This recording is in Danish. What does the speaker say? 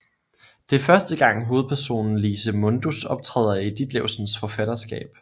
Det er første gang hovedpersonen Lise Mundus optræder i Ditlevsens forfatterskab